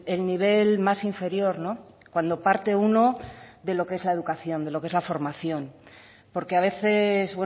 el nivel más inferior cuando parte uno de lo que es la educación de lo que es la formación porque a veces